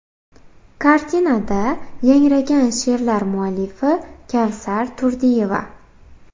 Kartinada yangragan she’rlar muallifi Kavsar Turdiyeva.